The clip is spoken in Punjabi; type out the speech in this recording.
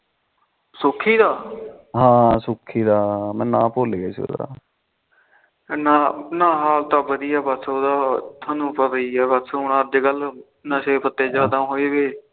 ਨਾ ਹਾਲ ਤਾ ਵਧੀਆਂ ਉਹਦਾ ਥੋਨੂੰ ਪਤਾ ਹੀ ਆ ਅੱਜ ਕੱਲ ਨਸ਼ੇ ਪੱਤੇ ਜਾਦਾ ਹੋਏ ਵੇ